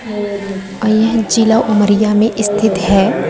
और यह जिला उमरिया में स्थित है।